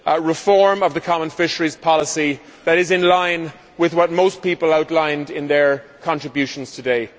reform of the common fisheries policy that is in line with what most people outlined in their contributions today.